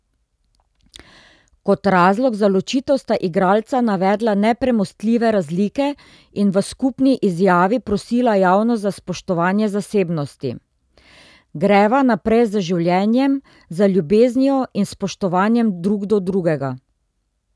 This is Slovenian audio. Kot razlog za ločitev sta igralca navedla nepremostljive razlike in v skupni izjavi prosila javnost za spoštovanje zasebnosti: 'Greva naprej z življenjem, z ljubeznijo in spoštovanjem drug do drugega.